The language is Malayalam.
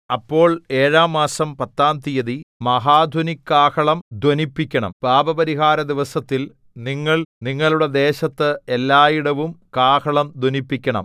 അപ്പോൾ ഏഴാം മാസം പത്താം തീയതി മഹാധ്വനികാഹളം ധ്വനിപ്പിക്കണം പാപപരിഹാരദിവസത്തിൽ നിങ്ങൾ നിങ്ങളുടെ ദേശത്ത് എല്ലായിടവും കാഹളം ധ്വനിപ്പിക്കണം